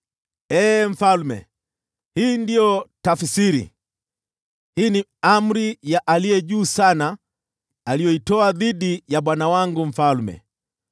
“Ee mfalme, hii ndiyo tafsiri, na hii ni amri ya Aliye Juu Sana aliyoitoa dhidi ya bwana wangu mfalme: